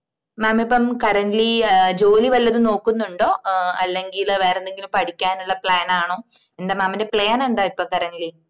mam ഇപ്പം currently ആഹ് ജോലി വല്ലതും നോക്കുന്നുണ്ടോ ആഹ് അല്ലങ്കിൽ വേറെ എന്തെങ്കിലും പഠിക്കാനുള്ള plan ആണോ എന്താ mam ന്റെ plan എന്താ ഇപ്പം currently